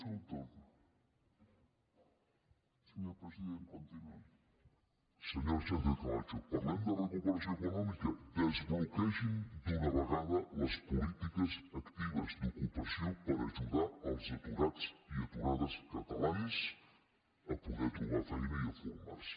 senyora sánchez camacho parlem de recuperació econòmica desbloquegin d’una vegada les polítiques actives d’ocupació per ajudar els aturats i aturades catalans a poder trobar feina i a formar se